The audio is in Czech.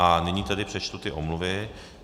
A nyní tedy přečtu ty omluvy.